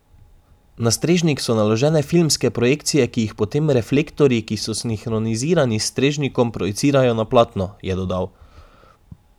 Na strežnik so naložene filmske projekcije, ki jih potem reflektorji, ki so sinhronizirani s strežnikom, projicirajo na platno, je dodal.